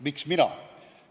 Miks mina?